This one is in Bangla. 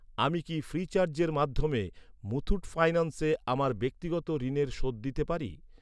আমি কি ফ্রিচার্জের মাধ্যমে মুথুট ফাইন্যান্সে আমার ব্যক্তিগত ঋণের শোধ দিতে পারি?